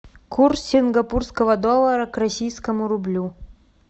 курс сингапурского доллара к российскому рублю